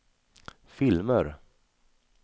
filmer